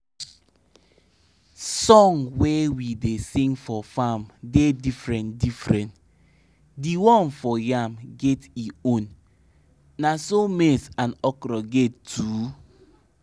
de song swit so tay e da make u no too reason the bad smell na wetin go fallout da come da your mind